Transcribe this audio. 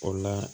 O la